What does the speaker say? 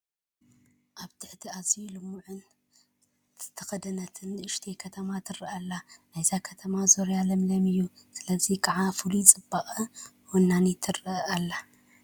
ኣብ ትሕቲ ኣዝዩ ልሙዕ ደን ዝተደኾነት ንኡሽተይ ከተማ ትርአ ኣላ፡፡ ናይዛ ከተማ ዝርያ ለምለም እዩ፡፡ ስለዚ ከዓ ፍሉይ ፅባቐ ወኒና ትርአ ኣላ፡፡